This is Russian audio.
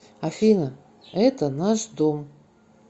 афина это наш дом